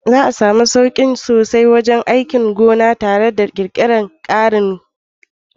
Za a samu sauki sosai wajen aikin gona nan gaba tare da ƙirƙirar ƙarin na'urori.